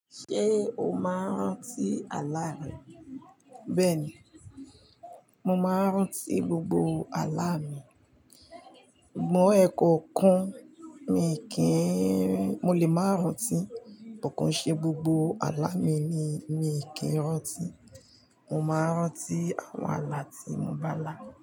Ṣé o máa ń rántí àlá rẹ? Bẹ́ẹ̀ ni, mo máa ń rántí gbógbó àlá mi. Mọ́ ẹ ko kan mi kì í, mo lè máa rántí, kàn ṣe gbógbó àlá mi ni mi kì í rántí. Mo máa ń rántí àwọn àlá tí mo bá là.